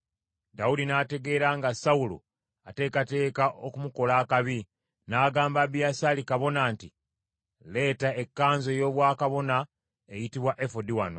Dawudi n’ategeera nga Sawulo ateekateeka okumukola akabi, n’agamba Abiyasaali kabona nti, “Leeta ekkanzu ey’obwakabona eyitibwa efodi wano.”